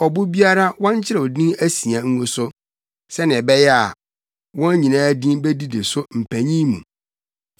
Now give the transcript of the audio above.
Ɔbo biara, wɔnkyerɛw din asia ngu so, sɛnea ɛbɛyɛ a, wɔn nyinaa din bedidi so mpanyin mu.